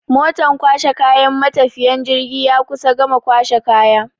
Motan kwashe kayan matafiyan jirgi ya kusan gama kwashe kaya.